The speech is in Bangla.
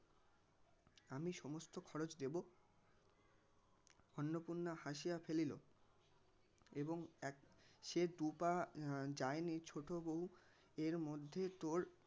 আমি সমস্ত খরচ দেবো অন্নপূর্ণা হাসিয়া ফেলিল এবং এক সে দু পা যায়নি ছোটো বউ এর মধ্যে তোর